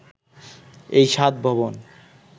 এই সাত ভবন